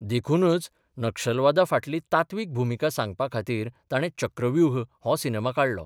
देखूनच नक्षलावादा फाटली तात्वीक भुमिका सांगपा खातीर ताणे चक्रव्यूह हो सिनेमा काडलो.